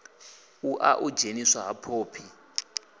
lṅa u dzheniswa ha phophi